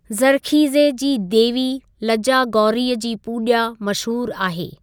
ज़र्ख़ीज़े जी देवी लज्जा गौरीअ जी पूॼा मशहूर आहे।